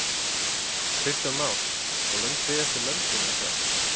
Kristján Már: Og löng bið eftir löndun eða hvað?